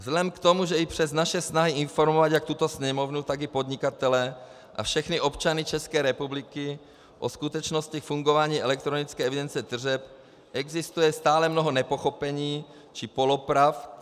Vzhledem k tomu, že i přes naše snahy informovat jak tuto Sněmovnu, tak i podnikatele a všechny občany České republiky o skutečnosti fungování elektronické evidence tržeb, existuje stále mnoho nepochopení či polopravd.